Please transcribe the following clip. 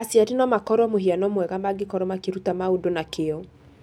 Aciari no makoro mũhiano mwega mangĩkoro makĩruta maũndũ na kĩo.